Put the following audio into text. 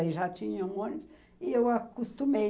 Aí já tinha um ônibus e eu acostumei.